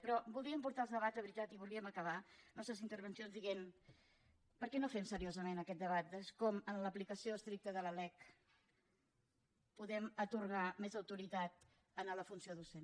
però voldríem portar els debats de veritat i voldríem acabar les nostres intervencions dient per què no fem seriosament aquest debat de com en l’aplicació estricta de la lec podem atorgar més autoritat a la funció docent